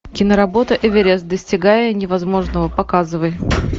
киноработа эверест достигая невозможного показывай